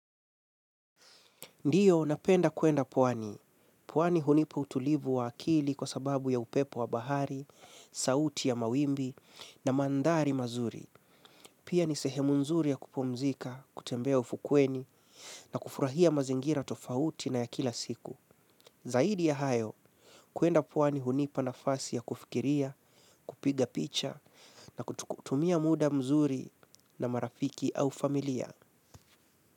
Ndio, napenda kwenda pwani. Pwani hunipa utulivu wa akili kwa sababu ya upepo wa bahari, sauti ya mawimbi na mandhari mazuri. Pia ni sehemu nzuri ya kupumzika, kutembea ufukweni na kufurahia mazingira tofauti na ya kila siku. Zaidi ya hayo, kwenda pwani hunipa nafasi ya kufikiria, kupiga picha na kutumia muda mzuri na marafiki au familia.